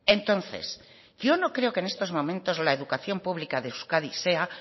entonces yo no creo que en estos momentos la educación pública de euskadi sea